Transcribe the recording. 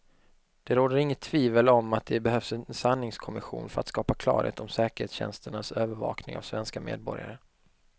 Det råder inget tvivel om att det behövs en sanningskommission för att skapa klarhet om säkerhetstjänsternas övervakning av svenska medborgare.